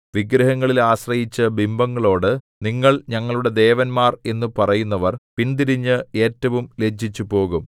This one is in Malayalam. വിഗ്രഹങ്ങളിൽ ആശ്രയിച്ചു ബിംബങ്ങളോട് നിങ്ങൾ ഞങ്ങളുടെ ദേവന്മാർ എന്നു പറയുന്നവർ പിന്തിരിഞ്ഞ് ഏറ്റവും ലജ്ജിച്ചുപോകും